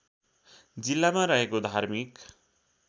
जिल्लामा रहेको धार्मिक